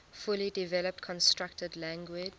fully developed constructed language